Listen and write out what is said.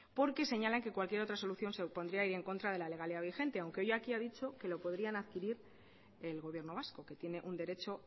porque señalan que cualquier otra solución se opondría a ir en contra de la legalidad vigente aunque hoy aquí ha dicho que lo podrían adquirir el gobierno vasco que tiene un derecho